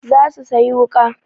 Za su sayi wuƙa.